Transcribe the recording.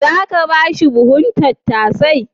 Za ka ba shi buhun tattasai?